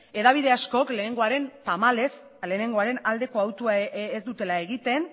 hedabide askok tamalez lehenengoaren aldeko autua ez dutela egiten